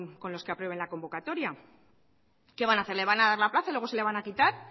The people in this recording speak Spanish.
con los que aprueben la convocatoria qué van a hacer le van a dar la plaza y luego se la van a quitar